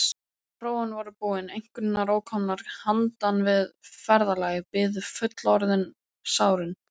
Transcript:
Prófin voru búin, einkunnir ókomnar, handan við ferðalagið biðu fullorðinsárin.